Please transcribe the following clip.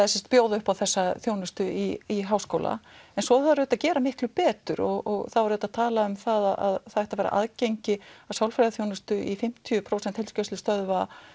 að bjóða upp á þessa þjónustu í háskóla en svo þarf auðvitað að gera miklu betur og það var auðvitað talað um að það ætti að vera aðgengi að sálfræðiþjónustu í fimmtíu prósent heilsugæslustöðva